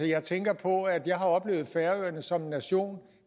jeg tænker på at jeg har oplevet færøerne som en nation